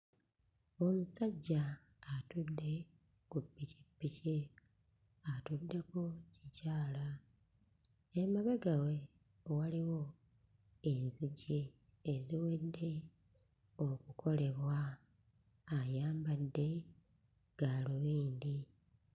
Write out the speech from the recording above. Omusajja atudde ku ppikippiki, atuddeko kikyala, emabega we waliwo enzigi eziwedde okukolebwa, ayambadde gaalubindi.